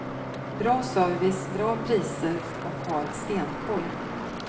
Bra service, bra priser och har stenkoll.